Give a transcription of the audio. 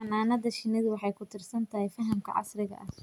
Xannaanada shinnidu waxay ku tiirsan tahay fahamka casriga ah.